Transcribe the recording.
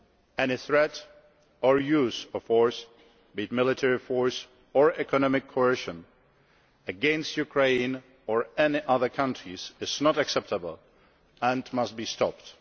Any threat or use of force be it military force or economic coercion against Ukraine or any other countries is not acceptable and must be stopped.